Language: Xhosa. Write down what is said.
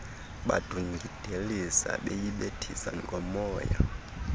badungidelisa beyibethisa ngomoya